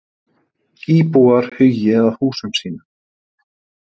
Íbúar hugi að húsum sínum